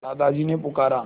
दादाजी ने पुकारा